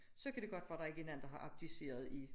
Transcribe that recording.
Så kan de godt være der ikke er nogen der har abdiceret i